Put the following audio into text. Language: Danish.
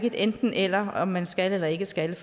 enten eller om man skal eller ikke skal